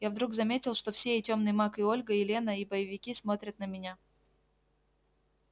я вдруг заметил что все и тёмный маг и ольга и лена и боевики смотрят на меня